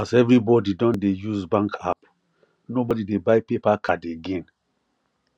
as everybody don dey use bank app nobody dey buy paper card again